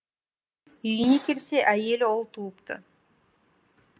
үйіне келсе әйелі ұл туыпты